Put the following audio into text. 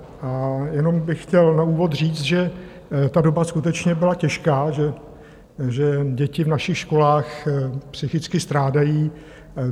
A jenom bych chtěl na úvod říct, že ta doba skutečně byla těžká, že děti v našich školách psychicky strádají.